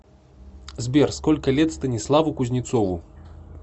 сбер сколько лет станиславу кузнецову